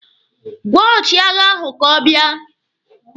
Gwaa ọchịagha ahụ ka ọ bịa!